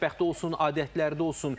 Mətbəxdə olsun, adətlərdə olsun.